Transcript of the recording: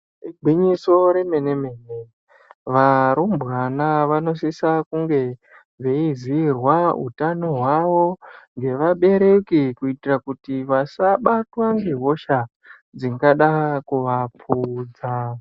Igwinyiso remene mene varumbwana vanosisa kunge veizirwa hutano hwawo ngevabereki kuitira kuti vasa batwa ngehosha dzingada kuvapfuudza.